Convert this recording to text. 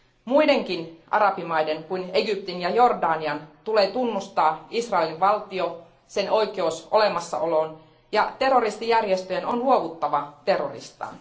Muidenkin arabimaiden kuin Egyptin ja Jordanian tulee tunnustaa Israelin valtio, sen oikeus olemassaoloon, ja terroristijärjestöjen on luovuttava terroristaan.